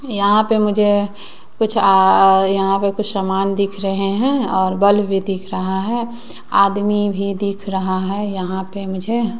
यहां पे मुझे कुछ आ यहां पे कुछ समान दिख रहें हैं और बल्ब भी दिख रहा है आदमी भी दिख रहा है यहां पे मुझे।